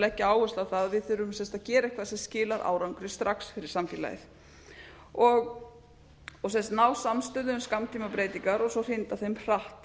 leggja áherslu á það að við þurfum að gera eitthvað sem skilar árangri strax fyrir samfélagið ná samstöðu um skammtímabreytingar og svo hrinda þeim hratt